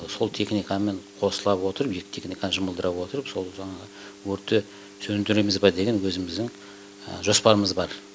сол техникамен қосыла отырып екі техниканы жұмылдыра отырып сол өртті сөндіреміз бе деген өзіміздің жоспарымыз бар